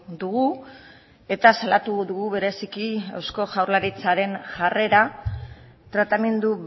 dugu eta salatu dugu bereziki eusko jaurlaritzaren jarrera tratamendu